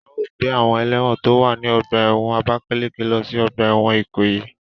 A o gbe awon elewon to wa ni ọgba ẹ́wọ̀n Abakaleke lo si ọgba ẹ́wọ̀n Ikoyi